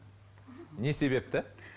не себепті